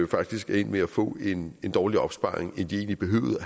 faktisk er endt med at få en dårligere opsparing end de egentlig behøvede